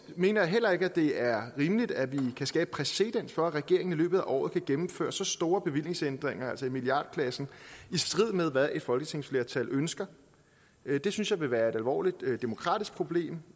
mener jeg heller ikke at det er rimeligt at vi kan skabe præcedens for at regeringen i løbet af året kan gennemføre så store bevillingsændringer altså i milliardklassen i strid med hvad et folketingsflertal ønsker det synes jeg vil være et alvorligt demokratisk problem